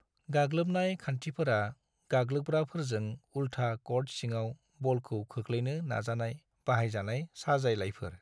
गाग्लोबनाय खान्थिफोरा गाग्लोबग्राफोरजों उल्था क'र्ट सिङाव बलखौ खोख्लैनो नाजानायाव बाहायजानाय साजायलायफोर।